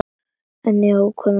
Er einhver ólund heima fyrir?